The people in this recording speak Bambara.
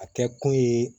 A tɛ kun ye